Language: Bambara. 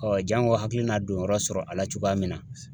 janko hakilii n'a don yɔrɔ sɔrɔ a la cogoya min na .